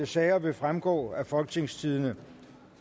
sager vil fremgå af folketingstidende